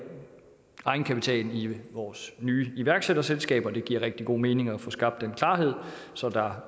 egenkapitalen i vores nye iværksætterselskaber det giver rigtig god mening at få skabt den klarhed så der